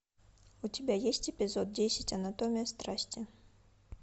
у тебя есть эпизод десять анатомия страсти